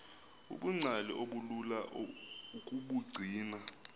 ubungcali obulula ukubugcina